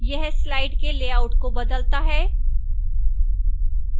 यह slide के layout को बदलता है